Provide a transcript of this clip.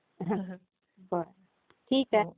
ठीक आहे.